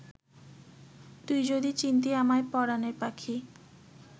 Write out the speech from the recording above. তুই যদি চিনতি আমায় পরানের পাখি